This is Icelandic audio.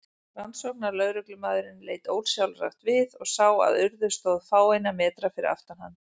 Rannsóknarlögreglumaðurinn leit ósjálfrátt við og sá að Urður stóð fáeina metra fyrir aftan hann.